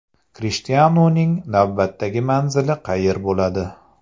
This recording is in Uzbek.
Krishtianuning navbatdagi manzili qayer bo‘ladi?.